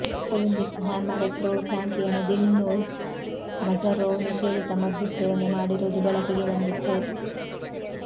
Olympic hammer throw champion Dilshod Nazarov ನಿಷೇಧಿತ ಮದ್ದುಸೇವನೆ ಮಾಡಿರುವುದು ಬೆಳಕಿಗೆ ಬಂದಿತ್ತು